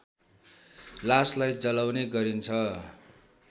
लासलाई जलाउने गरिन्छ